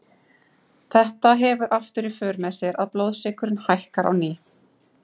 Þetta hefur aftur í för með sér að blóðsykurinn hækkar á ný.